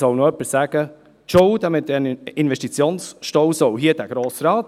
Nun soll noch jemand sagen, Schuld an diesem Investitionsstau trage dieser Grossen Rat.